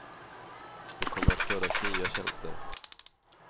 Det kommer att födas nya tjänster.